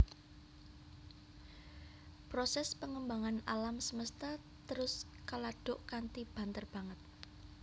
Prosès pangembangan alam semesta terus kaladuk kanthi banter banget